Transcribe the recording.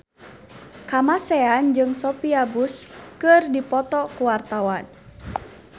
Kamasean jeung Sophia Bush keur dipoto ku wartawan